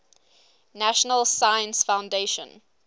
national science foundation